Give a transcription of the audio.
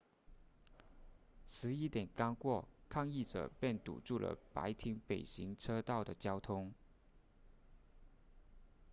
11点刚过抗议者便堵住了白厅北行车道的交通